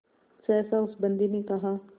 सहसा उस बंदी ने कहा